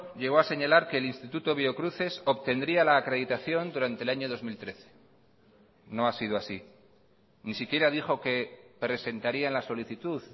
llegó a señalar que el instituto biocruces obtendría la acreditación durante el año dos mil trece no ha sido así ni siquiera dijo que presentarían la solicitud